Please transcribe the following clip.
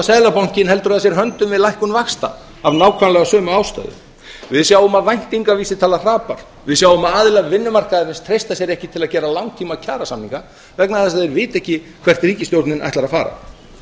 seðlabankinn heldur að sér höndum við lækkun vaxta af nákvæmlega sömu ástæðu við sjáum að væntingavísitala hrapar við sjáum að aðilar vinnumarkaðarins treysta sér ekki til að gera langtíma kjarasamninga vegna þess að þeir vita ekki hvert ríkisstjórnin ætlar að fara